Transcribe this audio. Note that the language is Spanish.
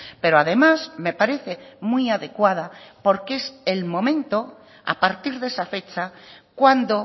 pero además me parece muy adecuada porque es el momento a partir de esa fecha cuando